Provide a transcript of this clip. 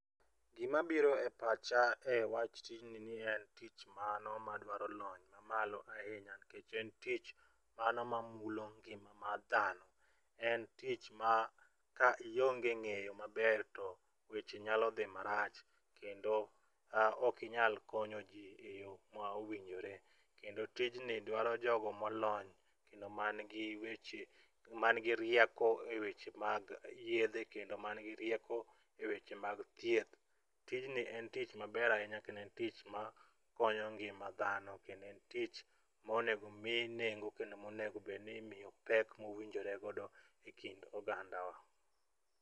Gima biro e pacha e wach tijni ni en tich mano madwaro lony mamalo ahinya nikeck en tich mano mamulo ngima mar dhano. En tich ma ka ionge ng'eyo maber to weche nyalo dhi marach kendo okinyal konyo jii e yoo mowinjore. Kendo tijni dwaro jogo molony kendo mag gi weche man gi reiko eweche mag yedhe kendo man gi rieko eweche mag thieth. Tijni en tich maber ahinya kendo en tich ma konyo ngima dhano kendo en tich monego mii nengo kendo monego bed ni en tich monego bed ni imiyo pek mowinjore godo e kind oganda wa.